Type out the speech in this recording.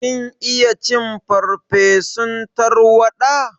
Kin iya cin farsefun tarwaɗa?